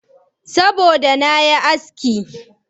Saboda da na yi aski.